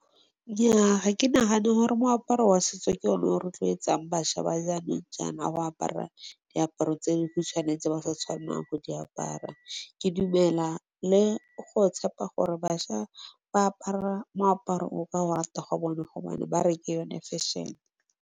Nnyaa ga ke nagana gore moaparo wa setso ke o ne o rotloetsang bašwa ba jaanong jaana go apara diaparo tse di khutswane tse ba sa tshwanelang go di apara. Ke dumela le go tshepa gore bašwa ba apara moaparo o ka go rata ga bone gobane ba re ke yo ne. Fešhene.